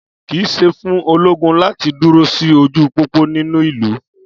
kìí ṣe fún ológun láti duro sí ojú pópó nínú ìlú